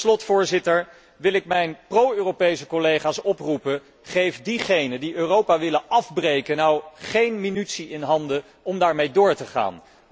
Tot slot, Voorzitter, wil ik mijn pro Europese collega's oproepen geef diegenen die Europa willen afbreken nu geen munitie in handen om daarmee door te gaan.